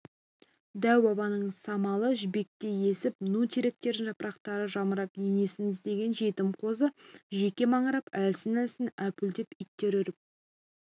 дәу-бабаның самалы жібектей есіп ну теректердің жапырақтары жамырап енесін іздеген жетім қозы жеке маңырап әлсін-әлсін әупілдеп иттер үріп